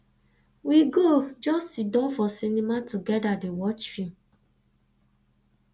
we go just siddon for cinema togeda dey watch film